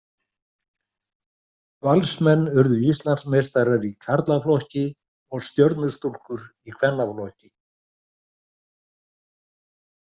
Valsmenn urðu Íslandsmeistarar í karlaflokki og Stjörnustúlkur í kvennaflokki.